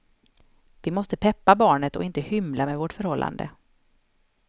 Vi måste peppa barnet och inte hymla med vårt förhållande.